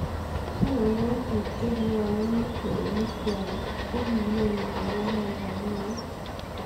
Choronok chuuk che kiaauni kweinik kwaak ko ki nyoko konna rapinik